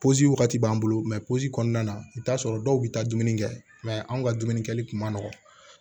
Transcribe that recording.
wagati b'an bolo kɔnɔna na i bi t'a sɔrɔ dɔw bi taa dumuni kɛ anw ka dumuni kɛli kun ma nɔgɔn